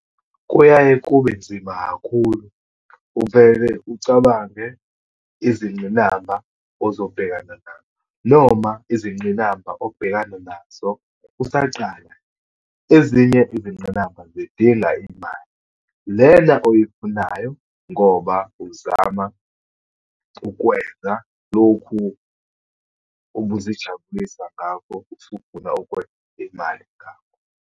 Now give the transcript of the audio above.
Kuyaye kube nzima kakhulu. Uvele ucabange izingqinamba ozobhekana nazo, noma izingqinamba obhekana nazo usaqala. Ezinye izinqinamba zidinga imali, lena oyifunayo ngoba uzama ukwenza lokhu ubuzijabulisa ngakho usufuna ukwenza imali ngakho.